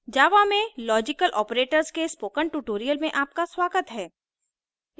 java में logical operators के spoken tutorial में आपका स्वागत है